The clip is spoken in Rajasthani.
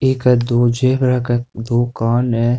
एक है दो ज़ेबरा का दो कान हे।